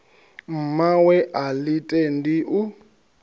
mmawe a ḽi tendi u